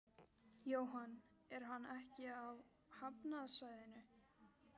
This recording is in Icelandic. Jóhann: Er hann ekki á hafnarsvæðinu?